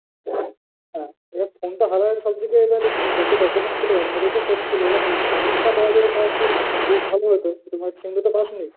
হ্যাঁ যাক phone টা হারায়ে সব যেগে এবার যত documents ছিল ওর মধ্যেই তো set ছিল। এবার নিজের sim টা পাওয়া যেত, তাও একটা তো ভালো হতো। কিন্তু sim টা তো পাসনি।